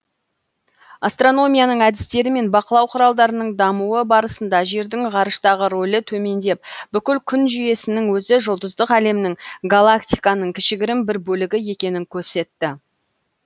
астрономияның әдістері мен бақылау құралдарының дамуы барысында жердің ғарыштағы рөлі төмендеп бүкіл күн жүйесінің өзі жұлдыздық әлемнің галактиканың кішігірім бір бөлігі екенін көрсетті